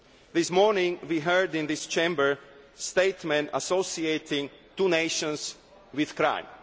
note. This morning we heard in this Chamber a statement associating two nations with